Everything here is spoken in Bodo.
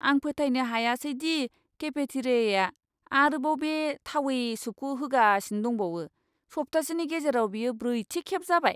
आं फोथायनो हायासै दि केफेटेरियाआ आरोबाव बे थावै सुपखौ होगासिनो दंबावो! सप्तासेनि गेजेराव बेयो ब्रैथि खेब जाबाय।